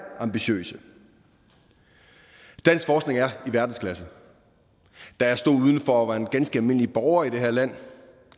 ambitiøse dansk forskning er i verdensklasse da jeg stod udenfor og var en ganske almindelig borger i det her land